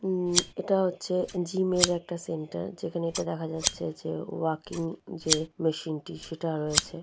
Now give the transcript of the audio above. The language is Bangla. আম এটা হচ্ছে জিম একটা সেন্টার যেখানে এটা দেখা যাচ্ছে যে ওয়াকিং যে মেশিন টি সেটা রয়েছে।